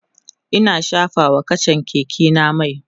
Ina shafa wa kachan Keke na mai